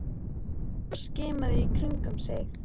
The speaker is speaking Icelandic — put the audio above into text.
Hann gekk hratt og skimaði í kringum sig.